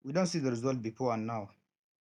we don see the result of before and now